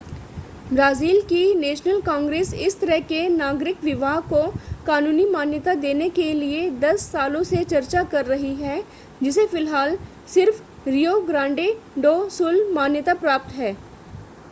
Brazil की national congress इस तरह के नागरिक विवाह को कानूनी मान्यता देने के लिए 10 सालों से चर्चा कर रही है जिसे फ़िलहाल सिर्फ़ रियो ग्रांडे डो सुल मान्यता प्राप्त है